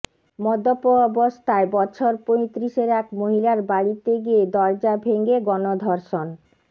মদ্যপ অবস্থায় বছর পয়তিরিশের এক মহিলার বাড়িতে গিয়ে দরজা ভেঙে গণধর্ষণ